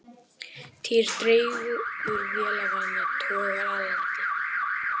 Týr dregur vélarvana togara að landi